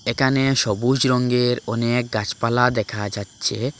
এখানে সবুজ রঙের অনেক গাছপালা দেখা যাচ্ছে।